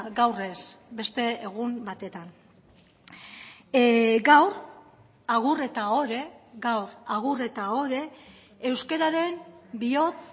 gaur ez beste egun batetan gaur agur eta ohore gaur agur eta ohore euskararen bihotz